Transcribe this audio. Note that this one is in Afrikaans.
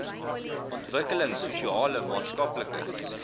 ontwikkelings sosiale maatskaplike